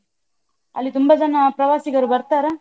ಅಲ್ಲಿ ತುಂಬ ಜನ ಪ್ರವಾಸಿಗರು ಬರ್ತಾರಾ?